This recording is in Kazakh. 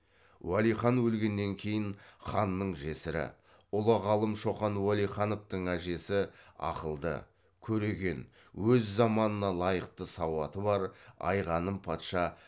уәлихан өлгеннен кейін ханның жесірі ұлы ғалым шоқан уәлихановтың әжесі ақылды көреген өз заманына лайықты сауаты бар айғаным патша